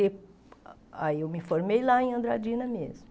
E aí eu me formei lá em Andradina mesmo.